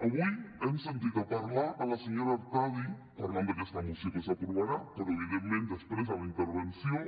avui hem sentit parlar la senyora artadi parlant d’aquesta moció que s’aprovarà però evidentment després a la intervenció